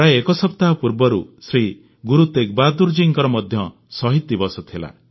ପ୍ରାୟ ଏକ ସପ୍ତାହ ପୂର୍ବରୁ ଶ୍ରୀ ଗୁରୁ ତେଗବାହାଦୂର ଜୀଙ୍କର ମଧ୍ୟ ଶହୀଦ ଦିବସ ଥିଲା